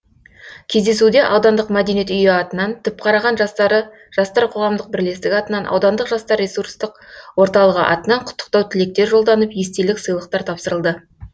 кездесуде аудандық мәдениет үйі атынан түпқараған жастары жастар қоғамдық бірлестігі атынан аудандық жастар ресурстық орталығы атынан құттықтау тілектер жолданып естелік сыйлықтар тапсырылды